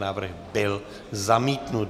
Návrh byl zamítnut.